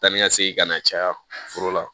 Taa ni ka segin ka na caya foro la